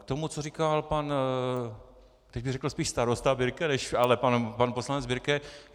K tomu, co říkal pan - teď bych řekl spíše starosta Birke - ale pan poslanec Birke.